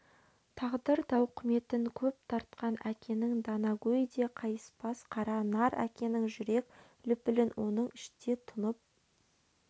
тағдыр тауқыметін көп тартқан әкенің данагөй де қайыспас қара нар әкенің жүрек лүпілін оның іште тұнып